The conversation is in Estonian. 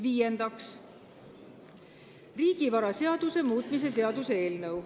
Viiendaks, riigivaraseaduse muutmise seaduse eelnõu.